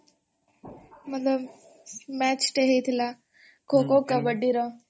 ମତାଳବ୍ match ଟେ ହେଇ ଥିଲାଅମ୍ ଖୋ ଖୋ କବାଡ଼ିର